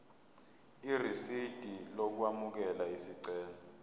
irisidi lokwamukela isicelo